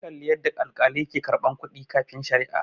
an Kalli yadda alkalai ke karɓar kuɗi kafin sharia